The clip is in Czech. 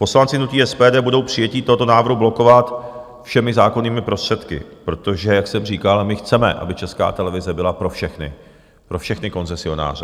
Poslanci hnutí SPD budou přijetí tohoto návrhu blokovat všemi zákonnými prostředky, protože jak jsem říkal, my chceme, aby Česká televize byla pro všechny, pro všechny koncesionáře.